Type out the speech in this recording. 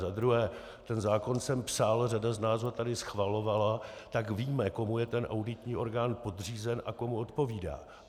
Za druhé, ten zákon jsem psal, řada z nás ho tady schvalovala, tak víme, komu je ten auditní orgán podřízen a komu odpovídá.